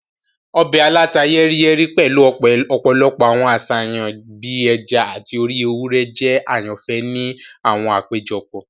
Ọbẹ̀ aláta-yẹ́ríyẹ́rí pẹ̀lu ọ̀pọ̀lọpọ̀ àwọn àṣàyàn bii ẹja ati orí ewúrẹ́ jẹ àyànfẹ́ ni àwọn àpéjọpọ̀.